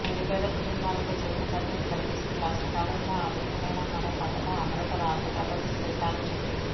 నిరుపేద కుటుంబాలకు జీవన భద్రత కల్పిస్తూ కష్టకాలంలో ఆదుకునేలా మరో పథకం అమలుకు రాష్ట్ర ప్రభుత్వం శ్రీకారం చుట్టింది